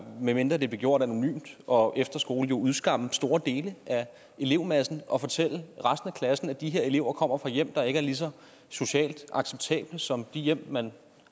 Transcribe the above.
medmindre det blev gjort anonymt og efter skole jo udskamme store dele af elevmassen og fortælle resten af klassen at de her elever kommer fra hjem der ikke er lige så socialt acceptable som de hjem man